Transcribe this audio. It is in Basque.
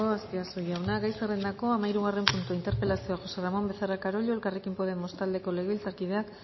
aspiazu jauna gai zerrendako hamahirugarren puntua interpelazioa josé ramón becerra carollo elkarrekin podemos taldeko legebiltzarkideak